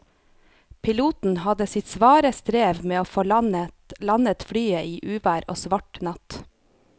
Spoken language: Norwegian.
Piloten hadde sitt svare strev med å få landet flyet i uvær og svart natt.